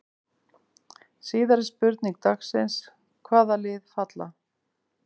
Síðari spurning dagsins: Hvaða lið falla?